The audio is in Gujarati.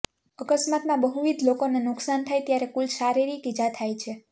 અકસ્માતમાં બહુવિધ લોકોને નુકસાન થાય ત્યારે કુલ શારીરિક ઇજા થાય છે